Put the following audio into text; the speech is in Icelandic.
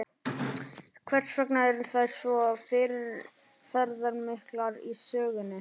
Hvers vegna eru þær svo fyrirferðamiklar í sögunni?